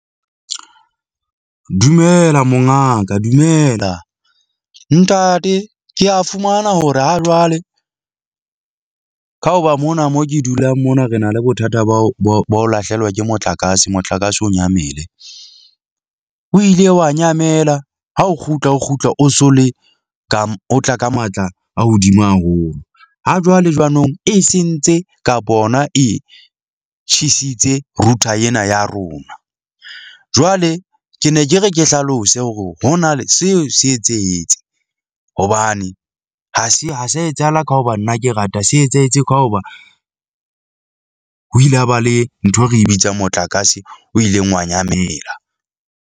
Dumela mongaka, dumela. Ntate, ke a fumana hore ha jwale ka hoba mona mo ke dulang mona re na le bothata ba ho ba ho lahlehelwa ke motlakase. Motlakase o nyamele, o ile wa nyamela ha o kgutla o kgutla o so le ka o tla ka matla a hodimo haholo ha jwale jwanong e sentse ka hona, e tjhesitse router ena ya rona. Jwale ke ne ke re, ke hlalose hore hona le seo se etsahetse hobane ha se ha se etsahala ka hoba nna ke rata se etsahetse ka hoba ho ile ha ba le ntho e re bitsang, motlakase o ileng wa nyamela.